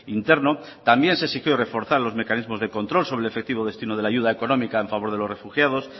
interno también se exigió reforzar los mecanismos de control sobre el efectivo destino de la ayuda económica en favor de los refugiados